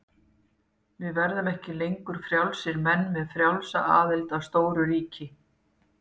Við verðum ekki lengur frjálsir menn með frjálsa aðild að stóru ríki.